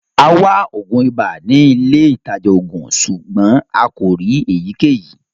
À wà oogun ìbà ni ilẹ̀ itajà oogun, ṣùgbọn a kò rí ëyíkẹyí.